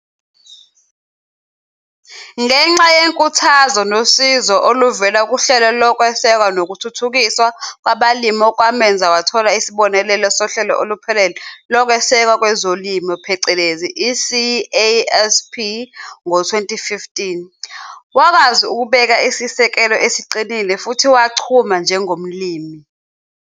Ngenxa yenkuthazo nosizo oluvela kuHlelo Lokwesekwa nokuThuthukiswa Kwabalimi okwamenza wathola isibonelelo Sohlelo Oluphelele Lokwesekwa Kwezolimo, i-CASP, ngowezi-2015, wakwazi ukubeka isisekelo esiqinile futhi wachuma njengomlimi.